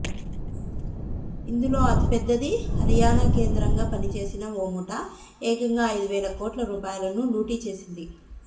ఇందు లో అతిపెద్దది హరియాణా కేంద్రంగా పనిచేసిన ఓ ముఠా ఏకంగా ఐదు వేల కోట్ల రూపాయలను లూటీ చేసింది